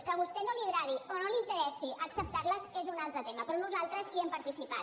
que a vostè no li agradi o no li interessi acceptar les és un altre tema però nosaltres hi hem participat